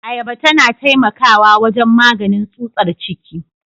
Ayaba tana taimakawa wajen maganin tsutsar ciki.